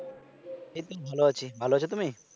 এইতো ভালো আছি ভালো আছ তুমি